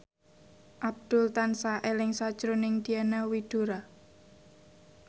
Abdul tansah eling sakjroning Diana Widoera